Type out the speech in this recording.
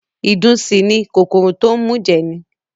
Ìdun sì ni, kòkòrò tó ń mùjẹ̀ ni